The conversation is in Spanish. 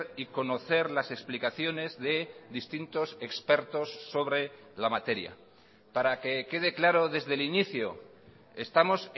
y conocer las explicaciones de distintos expertos sobre la materia para que quede claro desde el inicio estamos